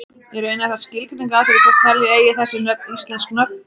Í raun er það skilgreiningaratriði hvort telja eigi þessi nöfn íslensk nöfn.